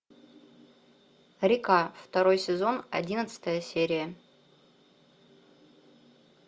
река второй сезон одиннадцатая серия